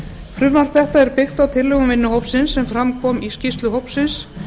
frumvarp þetta er byggt á tillögum vinnuhópsins sem fram kom í skýrslu hópsins